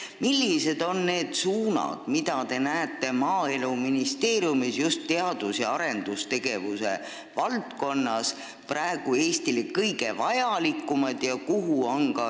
Millised on need suunad, mida te näete Maaeluministeeriumis just teadus- ja arendustegevuse valdkonnas praegu Eestile kõige vajalikumana?